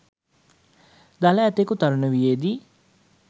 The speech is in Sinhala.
දළ ඇතකු තරුණ වියේදී